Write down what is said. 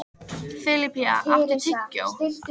Filippía, áttu tyggjó?